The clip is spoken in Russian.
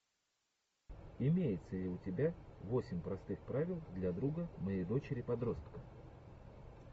имеется ли у тебя восемь простых правил для друга моей дочери подростка